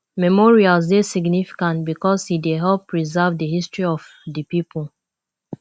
memorials dey significant because e dey help preserve di history of di pipo